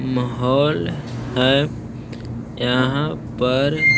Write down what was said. महोल है यहाँ पर --